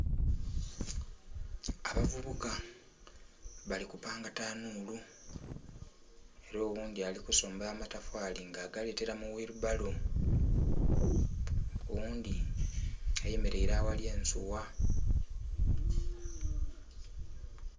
Abavubuka bali kupanga tanuulu. Era oghundhi ali kusomba amatofali nga agaletela mu wheelbarrow. Oghundhi ayemeleire aghali ensuwa.